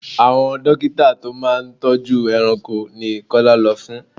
Àwon dókítà tó máa ń tọ́jú ẹranko ni Kọ́lá lọ fún.